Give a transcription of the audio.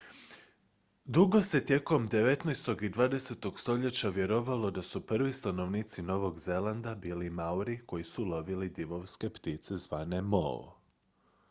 dugo se tijekom devetnaestog i dvadesetog stoljeća vjerovalo da su prvi stanovnici novog zelanda bili maori koji su lovili divovske ptice zvane moe